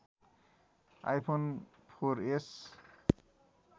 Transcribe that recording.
iPhone four S